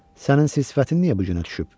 Sənin sis sifətin niyə bu günə düşüb?